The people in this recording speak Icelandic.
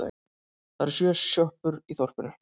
Það eru sjö sjoppur í þorpinu!